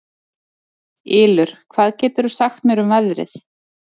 Ylur, hvað geturðu sagt mér um veðrið?